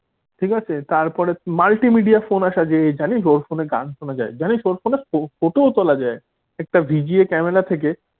ঠিক আছে তারপরে multimedia ফোন আসা যে জানিস ওর ফোনে গান শোনা যায়। জানিস ওর ফোনে photo তোলা যায়। একটা VGA ক্যামেরা থেকে।